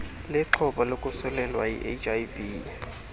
lixhoba lokosulelwa yiihiv